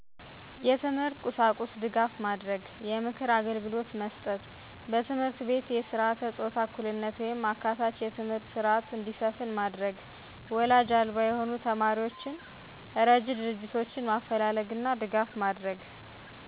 የትምህርት ቁሳቁስ ድጋፍ ማድረግ። የምክር አግልግሎት መስጠት መስጠት። በትምህርት ቤት የስረዓተ ፆታ እኩልነት ወይም አካታች የትምህርት ስረዐት እንዲሰፍን ማድረግ ማድረግ ወላጅ አልባ የሆኑ ተማሪዎችን እረጅ ድርጆቶችን ማፈላለግና ድጋፍ ማድረግ